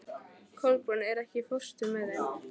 Kolbrún, ekki fórstu með þeim?